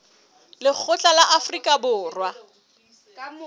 lekgotla la afrika borwa la